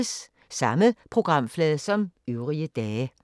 Samme programflade som øvrige dage